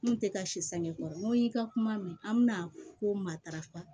N kun tɛ ka si sange kɔrɔ n ko y'i ka kuma mɛn an bɛna ko matarafa